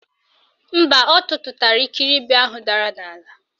Mba, ọ tụtụtara ikiribi ahụ dara n'ala.